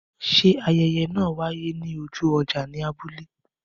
Ṣé ayẹyẹ náà wáyé ní ojú ọjà ní abúlé?